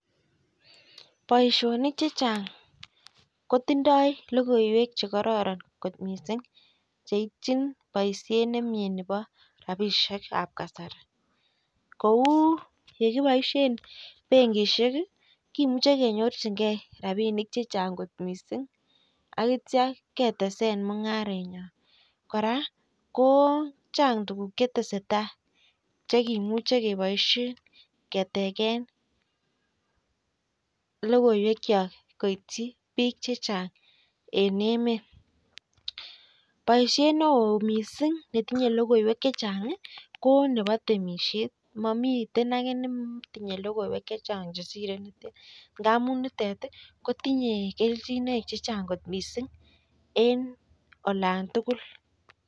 Boishonik chechang' kotindoi lokoiwek chekororon kot mising' cheitchin boishet nemie nebo rabishekab kasari kou yekiboishen benkishek kimuche kenyorchingei rabinik chichang' kot mising' akitya ketesen mung'aret yoo kora ko chang' tukuk chetese tai chekemuche keboishen keteken lokoiwek cho koityi biik chechang' en emet boishet ne oo mising' netinyei lokoiwek chechang' ko nebo temishet momiten age netinye lokoiwek chechang' chesirei temishet ngamun nitet kotinye kelchinoik chechang' kot mising' en olan tugul